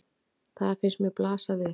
Það finnst mér blasa við.